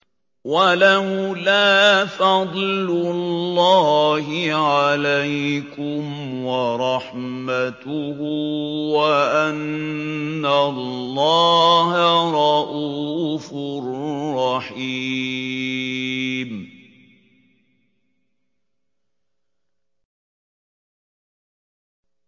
وَلَوْلَا فَضْلُ اللَّهِ عَلَيْكُمْ وَرَحْمَتُهُ وَأَنَّ اللَّهَ رَءُوفٌ رَّحِيمٌ